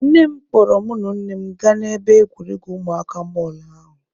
Nne m kpọrọ mụ na ụmụnne m gaa n'ebe egwuregwu ụmụaka mall ahụ.